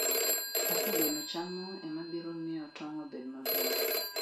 Kaka gweno chamo ema biro miyo tong' obed maber.